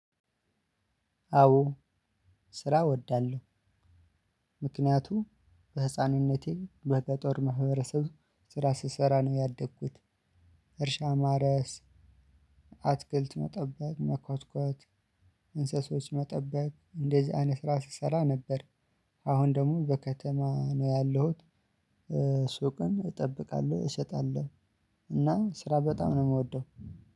አዎ ስራ እወዳለሁ። ምክንያቱም በህፃንነቴ በገጠር ማህበረሰብ ስራ ስሰራ ነው ያደግኩት። እርሻ ማረስ አትክልት መጠበቅ መኳትኳት እንስሶች መጠበቅ እንደዚህ አይነት ስራ ስሰራ ነበር። አሁን ደግሞ በከተማ ነው ያለሁት። ሱቅን እጠብቃለሁ እሸጣለሁ። እና ስራ በጣም ነው ከምወደው